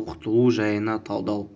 оқытылу жайына талдау